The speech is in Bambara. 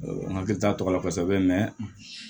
N hakili t'a tɔgɔ la kosɛbɛ